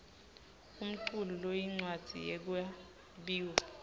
umculu loyincwadzi yekwabiwa